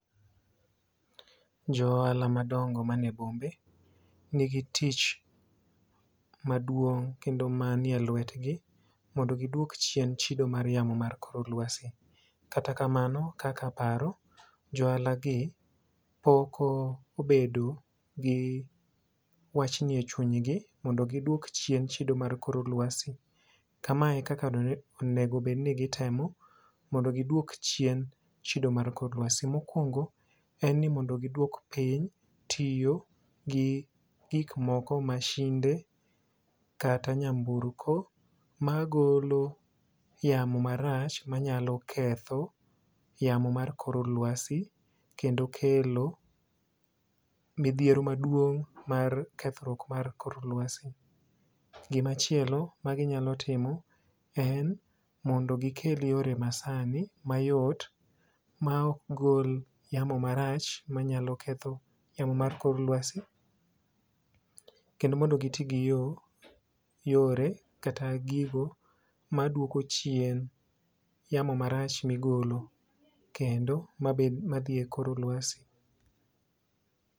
Jo ohala madongo manie bombe nigi tich maduong kendo manie lwetgi mondo giduok chien chido mar yamo mar kor lwasi. Kata kamano kaka paro johala gi pok obedo gi wach ni echuny gi mondo gidwok chien chido mar kor lwasi. Kamae e kaka onego bed ni gitemo mondo gidwok chien chido mar kor lwasi: mokwongo mondno giwdok chien tiyo gi masinde kata nyamburko magolo yamo marach manyalo ketho yamo mar kor lwasi kendo kelo midhiero maduong' mar kethruok mar kor lwasi. Gimachielo ma ginyalo timo en mondo gikel yore masani mayot ma ok gol yamo marach manyalo ketho yamo mar kor lwasi kendo mondo gitii gi yoo yore kata gigo maduoko chien yamo marach migolo kendo madhi e kor lwasi.